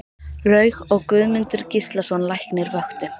Laug og Guðmundur Gíslason læknir vöktu